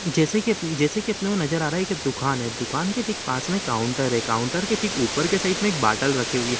जैसे कि जैसे की अपने को नजर आ रहा है दुकान है दुकान के ठीक पास में काउंटर हैं काउंटर के ठीक ऊपर की साइड में एक बॉटल रखी हुई है।